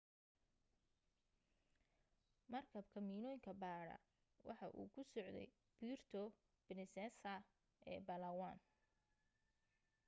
markabka miinooyinka baadha waxa uu ku socday puerto princesa ee palawan